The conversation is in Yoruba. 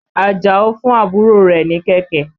Àjàó fún àbúrò rẹ̀ ní kẹ̀kẹ́.